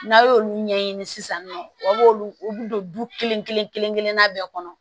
N'a y' olu ɲɛɲini sisan nɔ a b'olu u don du kelen kelen kelen kelen kelenna bɛɛ kɔnɔ